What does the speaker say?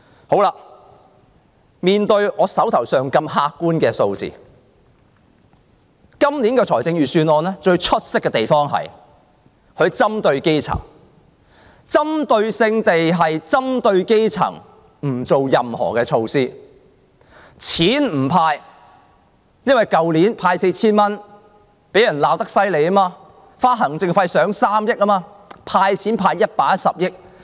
好了，面對這些客觀的數字，今年的預算案最出色的地方是針對基層，針對性地不採取任何措施，不"派錢"，因為去年每人派 4,000 元，行政費花了3億元，被人罵得緊。